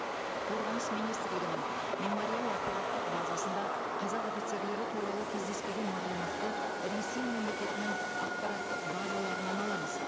қорғаныс министрлігінің мемориал ақпараттық базасында қазақ офицерлері туралы кездеспеген мағлұматты ресей мемлекетінің ақпараттық базаларынан аламыз